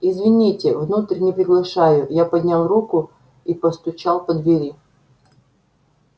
извините внутрь не приглашаю я поднял руку и постучал по двери